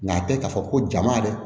Nka tɛ k'a fɔ ko jama yɛrɛ